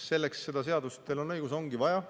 Selleks seda seadust, teil on õigus, ongi vaja.